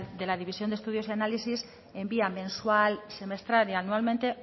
de la división de estudios y análisis envía mensual semestral y anualmente